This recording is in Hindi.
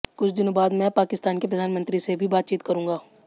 कुछ दिनों बाद मैं पाकिस्तान के प्रधानमंत्री से भी बातचीत करूंगा